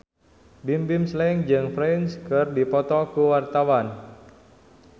Bimbim Slank jeung Prince keur dipoto ku wartawan